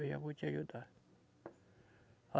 Eu já vou te ajudar.